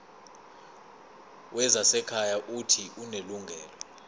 wezasekhaya uuthi unelungelo